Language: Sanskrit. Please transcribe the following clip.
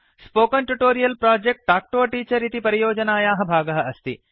spoken tutorial project talk to a teacher इति परियोजनायाः भागः अस्ति